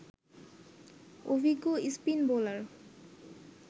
অভিজ্ঞ spin bowler